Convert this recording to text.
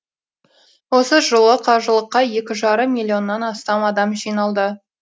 осы жылы қажылыққа екі жарым миллионнан астам адам жиналды